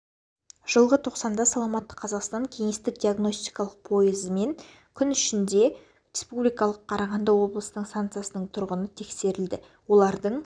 жылғы тоқсанда саламатты қазақстан кеңестік диагностикалық пойызымен күн ішінде республикамыздық қарағанды облысының станциясының тұрғыны тексерілді олардың